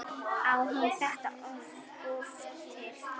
Á hún þetta oft til?